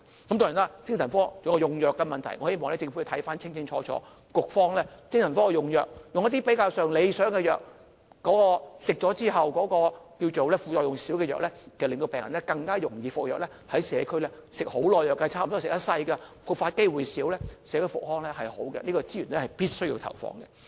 當然，精神科還有用藥的問題，我希望政府看清楚精神科的用藥，局方可以用一些比較理想的藥，即副作用較少的藥，令病人更願意服藥，社區上有些精神科病人需要長期服藥，差不多一生服藥，復發機會減少，對社區復康有好處，這個資源必須投放。